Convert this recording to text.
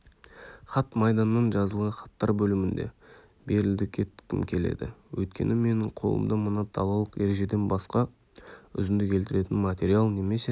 хат майданнан жазылған хаттар бөлімінде берілдікеткім келеді өйткені менің қолымда мына далалық ережеден басқа үзінді келтіретін материал немесе